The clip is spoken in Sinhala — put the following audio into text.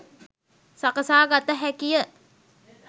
සකසාගත හැකිය.